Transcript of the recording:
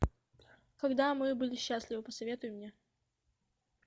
когда мы были счастливы посоветуй мне